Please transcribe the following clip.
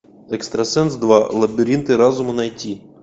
экстрасенс два лабиринты разума найти